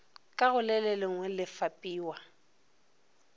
ka go lelengwe le fapiwa